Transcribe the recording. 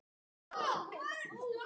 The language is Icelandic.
Komið þið hingað aftur!